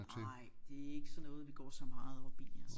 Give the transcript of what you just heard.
Nej det er ikke sådan noget vi går så meget op i altså